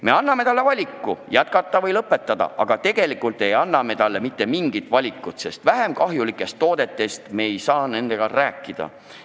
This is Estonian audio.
Me anname talle valiku jätkata või lõpetada, aga me ei anna talle mitte mingit muud valikut, sest vähem kahjulikest toodetest temaga ei taheta rääkida.